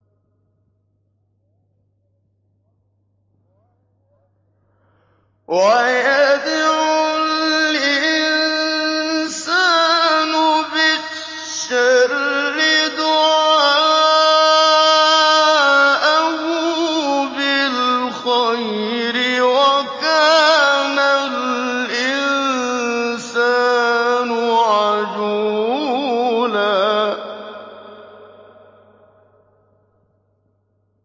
وَيَدْعُ الْإِنسَانُ بِالشَّرِّ دُعَاءَهُ بِالْخَيْرِ ۖ وَكَانَ الْإِنسَانُ عَجُولًا